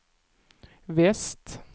väst